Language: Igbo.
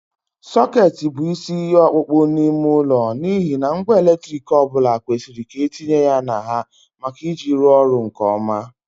Soket bụ isi ihe ọkpụkpọ n'ime ụlọ n'ihi na ngwa eletrik ọ bụla kwesịrị ka etinye ya na ha maka iji ya rụọ ọrụ nke ọma.